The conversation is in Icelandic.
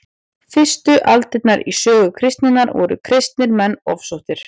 fyrstu aldirnar í sögu kristninnar voru kristnir menn ofsóttir